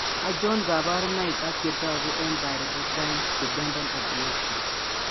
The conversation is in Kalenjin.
Achon Kaborunoik ak chetogu eng' pyridoxine dependent epilepsy